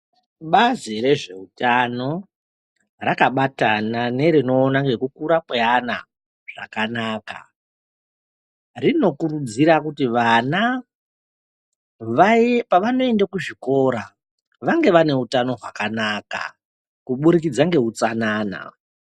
Bazi rezvehutano rakabatana nerekukura kweana zvakanaka rinokurudzira kuti vana pavanoenda kuzvikora vange vane hutano hwakanaka kuburikidza nehutsanana.